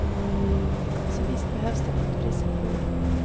Så visst behövs det nytt friskt blod.